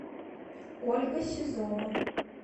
ольга сизова